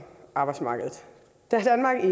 arbejdsmarkedet da danmark i